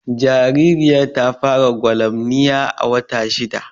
Jaririyar ta fara gwalamniya a wata shidda